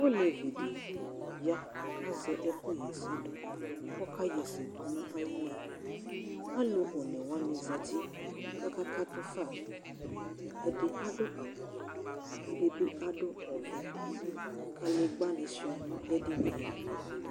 olévi di ya ka zɛ ɛku yɛsɛ du kɔ ka yɛsɛ du na ayili alu oné woani zɛti ka ka katu fă ɛdi adu awu wɛ ɛdi bi adu ɔvɛ kadégba ni sua nu édinié